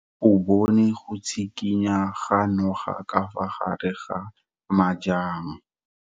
O bone go tshikinya ga noga ka fa gare ga majang.